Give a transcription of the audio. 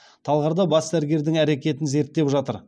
талғарда бас дәрігердің әрекетін зерттеп жатыр